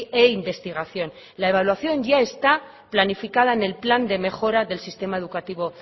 e investigación la evaluación ya está planificada en el plan de mejora del sistema educativo